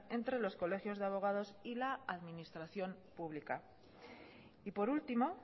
entre los colegios de abogados y la administración pública y por último